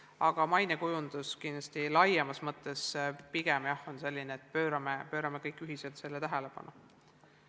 Aga mainekujundus laiemas mõttes tähendab pigem seda, et pöörame kõik ühiselt keelele tähelepanu.